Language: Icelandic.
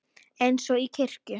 Eins og í kirkju.